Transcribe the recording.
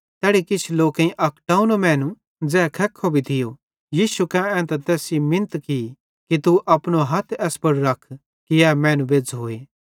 तैड़ी किछ लोकेईं अक टोव्नो मैनू ज़ै खेख्खो भी थियो यीशु कां एन्तां तैस सेइं मिन्नत की कि तू अपनो हथ एस पुड़ रख कि ए मैनू बेज़्झ़ोए